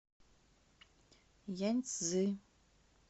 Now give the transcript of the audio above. яньцзи